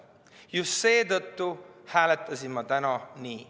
Just seetõttu hääletasin ma täna nii.